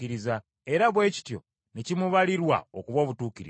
era bwe kityo ne kimubalirwa okuba obutuukirivu.